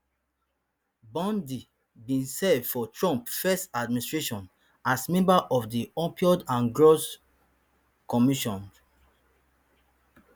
bondi bin serve for trump first administration as member of di opioid and drug commision